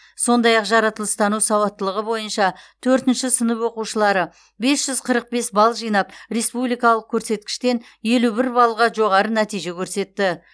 сондай ақ жаратылыстану сауаттылығы бойынша төртінші сынып оқушылары бес жүз қырық бес балл жинап республикалық көрсеткіштен елу бір баллға жоғары нәтиже көрсетті